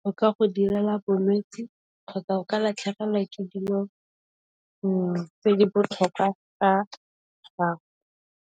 go ka go direla bolwetsi kgotsa o ka latlhegelwa ke dilo tse di botlhokwa tsa gago.